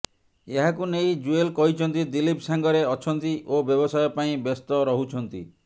ଏହାକୁ ନେଇ ଜୁଏଲ କହିଛନ୍ତି ଦିଲ୍ଲୀପ ସାଙ୍ଗରେ ଅଛନ୍ତି ଓ ବ୍ୟବସାୟ ପାଇଁ ବ୍ୟସ୍ତ ରହୁଛନ୍ତି